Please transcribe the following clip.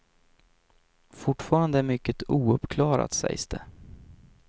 Fortfarande är mycket ouppklarat, sägs det.